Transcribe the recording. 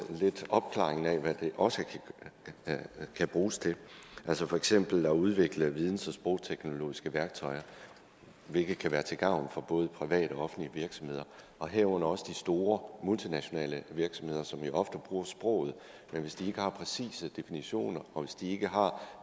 opklaringen af hvad det også kan bruges til for eksempel at udvikle videns og sprogteknologiske værktøjer hvilket kan være til gavn for både private og offentlige virksomheder og herunder også de store multinationale virksomheder som jo ofte bruger sproget men hvis de ikke har præcise definitioner og hvis de ikke har